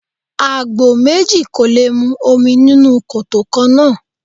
Àgbò méjì kò lè mu omi nínú koto kannáà.